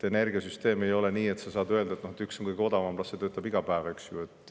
Energiasüsteemi puhul ei ole nii, et saab öelda, et üks on kõige odavam, las see töötab iga päev, eks ju.